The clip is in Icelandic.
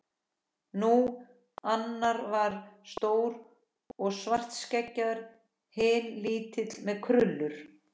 Nú. annar var stór og svartskeggjaður. hinn lítill með krullur.